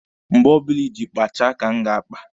Mgbe ọbụla iji kpachaa ka m ga-akpa.